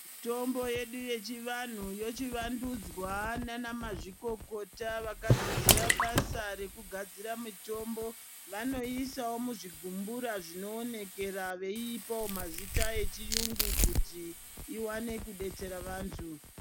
Mitombo yedu yechivanhu yochivandudzwa nana mazvikokota vakadzidzira basa rekugadzira mitombo vanoisawo muzvigumbura zvinoonekera veipawo mazita echiyungu kuti ivane kudetsera vantu.